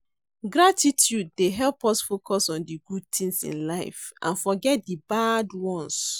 Gratitude dey help us focus on di good tings in life and forget di bad ones.